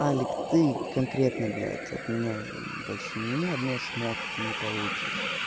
алик ты конкретно блять от меня больше ни одной шмотки не получишь